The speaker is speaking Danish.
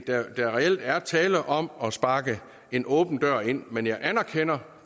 der er reelt tale om at sparke en åben dør ind men jeg anerkender